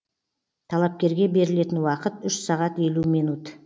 талапкерге берілетін уақыт үш сағат елу минут